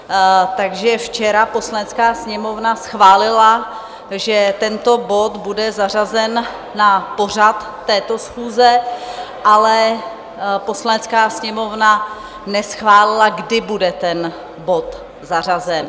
Takže včera Poslanecká sněmovna schválila, že tento bod bude zařazen na pořad této schůze, ale Poslanecká sněmovna neschválila, kdy bude ten bod zařazen.